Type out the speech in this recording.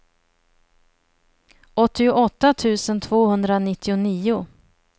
åttioåtta tusen tvåhundranittionio